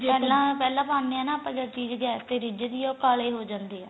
ਪਹਿਲਾਂ ਪਹਿਲਾਂ ਪਾਨੇ ਆਪਾਂ ਜਦਗੈਸ ਤੇ ਰਿਜਦੀ ਏ ਉਹ ਕਾਲੀ ਹੋ ਜਾਂਦੀ ਏ